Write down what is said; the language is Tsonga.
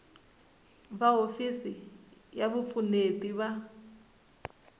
va hofisi ya vupfuneti va